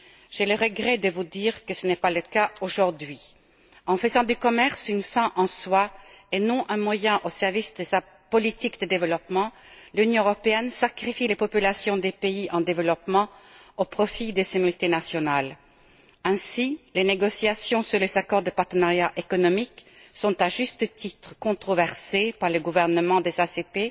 J'ai le regret de vous dire que ce n'est pas le cas aujourd'hui. En faisant du commerce une fin en soi, et non un moyen au service de sa politique de développement, l'Union européenne sacrifie les populations des pays en développement au profit de ses multinationales. Ainsi, les négociations sur les accords de partenariat économique suscitent, à juste titre, la controverse parmi les gouvernements des ACP,